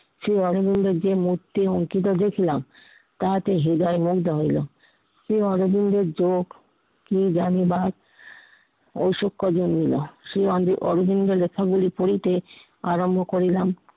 শ্রীয় অরবিন্দের যে মূর্তি অঙ্কিত দেখলাম, তাহাতে হৃদয় মুগ্ধ হইলো। শ্রী অরবিন্দের যোগ কি জানিবার ও শিক্ষ্য জন্মিলো শ্রী অরবিন্দের লেখা পড়িতে আরম্ভ করিলাম।